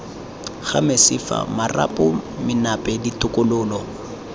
ga mesifa marapo menape ditokololo